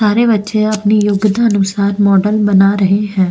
सारे बच्चे अपनी योग्यता अनुसार मॉडल बना रहे है।